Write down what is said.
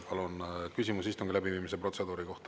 Palun, küsimus istungi läbiviimise protseduuri kohta.